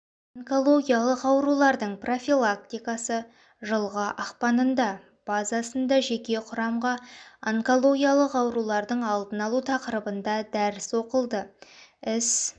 онкологиялық аурулардың профилактикасы жылғы ақпанында базасында жеке құрамға онкологиялық аурулардың алдын алу тақырыбында дәріс оқылды іс